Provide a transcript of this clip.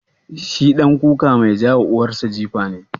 Shi ɗan kuka mai ka wa uwar sa jifa ne?